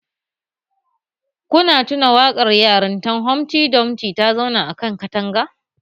Kuna tuna waƙar yarintan Humfty Dumfty ta zauna a kan katanga